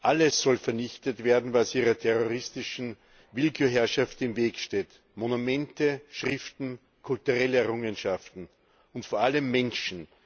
Alles soll vernichtet werden, was ihrer terroristischen Willkürherrschaft im Weg steht Monumente, Schriften, kulturelle Errungenschaften und vor allem Menschen.